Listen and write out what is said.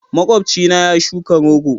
Makwabcina ya shuka rogo.